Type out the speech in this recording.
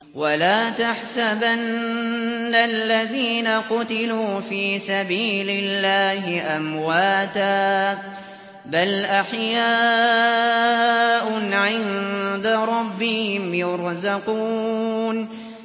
وَلَا تَحْسَبَنَّ الَّذِينَ قُتِلُوا فِي سَبِيلِ اللَّهِ أَمْوَاتًا ۚ بَلْ أَحْيَاءٌ عِندَ رَبِّهِمْ يُرْزَقُونَ